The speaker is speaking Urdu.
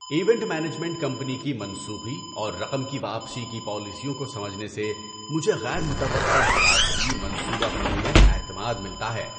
ایونٹ مینجمنٹ کمپنی کی منسوخی اور رقم کی واپسی کی پالیسیوں کو سمجھنے سے مجھے غیر متوقع حالات کی منصوبہ بندی میں اعتماد ملتا ہے۔